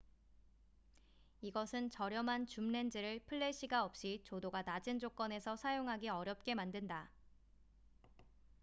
이것은 저렴한 줌 렌즈를 플래시가 없이 조도가 낮은 조건에서 사용하기 어렵게 만든다